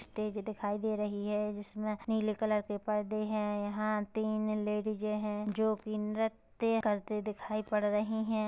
Stage दिखाई दे रहे है जिसमें नीली कलर के परदे है यहाँ तीन लेडीजे है जो कि नृत्य करते दिखाई पड़ रही है।